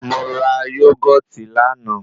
Mo ra yógọ̀tì lánàá.